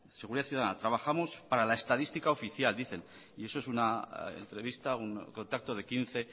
seguridad ciudadana trabajamos para la estadística oficial dicen y eso es una entrevista un contacto de quince